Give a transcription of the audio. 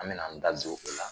An bena an da don o la